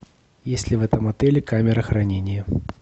есть ли в этом отеле камера хранения